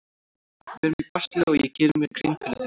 Við erum í basli og ég geri mér grein fyrir því.